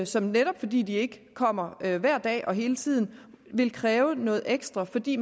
som netop fordi de ikke kommer hver hver dag og hele tiden vil kræve noget ekstra fordi